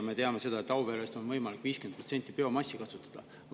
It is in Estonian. Me teame, et Auveres on võimalik 50% biomassi kasutada.